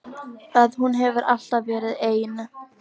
Að hún hefur alltaf verið ein.